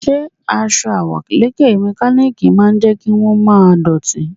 Ǹjẹ́ aṣọ àwọ̀lékè mẹkálíkì máa jẹ́ kí wón má dọ̀tí?